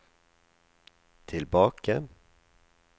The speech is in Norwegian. tilbake